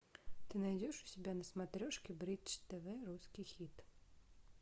ты найдешь у себя на смотрешке бридж тв русский хит